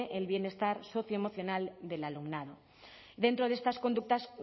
el bienestar socioemocional del alumnado dentro de estas conductas